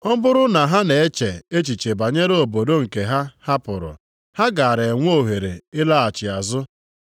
Ọ bụrụ na ha na-eche echiche banyere obodo nke ha hapụrụ, ha gaara enwe ohere ịlaghachi azụ.